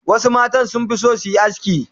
Wasu mata sun fi son su yi aski.